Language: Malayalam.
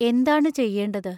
എന്താണു ചെയ്യേണ്ടത്?